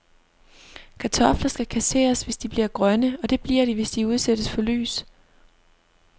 Kartofler skal kasseres, hvis de bliver grønne, og det bliver de, hvis de udsættes for lys.